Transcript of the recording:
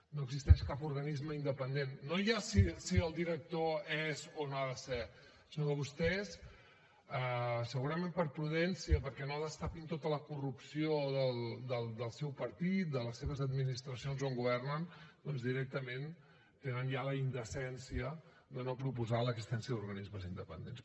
no existeix cap organisme independent no ja si el director és o no ha de ser sinó que vostès segurament per prudència perquè no destapin tota la corrupció del seu partit de les seves administracions on governen doncs directament tenen ja la indecència de no proposar l’existència d’organismes independents